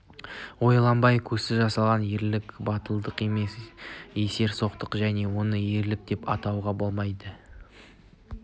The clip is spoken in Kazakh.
ойланбай көзсіз жасалған ерлік батылдық емес есерсоқтық және оны ерлік деп атауға келмейді